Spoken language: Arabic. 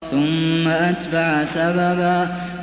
ثُمَّ أَتْبَعَ سَبَبًا